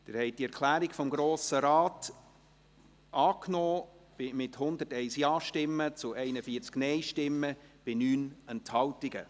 Sie haben die Erklärung des Grossen Rates angenommen, mit 101 Ja- gegen 41 NeinStimmen bei 9 Enthaltungen.